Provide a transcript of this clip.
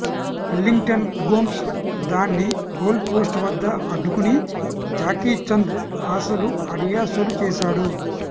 Willingdon Gomes దాన్ని goal post వద్ద అడ్డుకుని జాకీచంద్ ఆశలు అడియాసలు చేశాడు